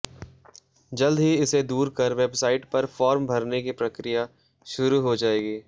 जल्द ही इसे दूर कर वेबसाइट पर फॉर्म भरने की प्रक्रिया शुरू हो जाएगी